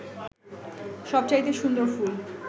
সবচাইতে সুন্দর ফুল